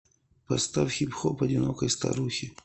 поставь хип хоп одинокой старухи